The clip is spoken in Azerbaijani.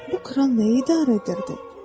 Bu kral nəyi idarə edirdi?